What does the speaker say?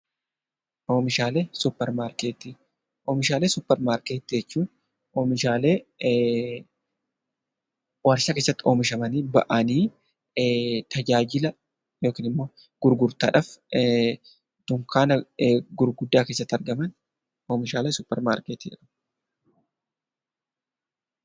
Oomishaalee Suppermaarkeetii: Oomishaalee Suppermaarkeetii jechuun oomishaalee warshaa keessatti oomishamanii bahanii tajaajila yookaan gurgurtaadhaaf dunkaana gurguddaa keessatti argaman oomishaalee Suppermaarkeetii jedhamu.